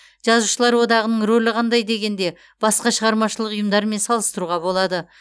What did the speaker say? жазушылар одағының рөлі қандай дегенде басқа шығармашылық ұйымдармен салыстыруға болады